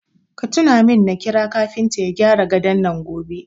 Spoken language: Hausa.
Ka tuna min na kira kafinta ya gyara gadon nan gobe.